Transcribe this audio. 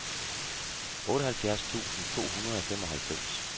otteoghalvfjerds tusind to hundrede og femoghalvfems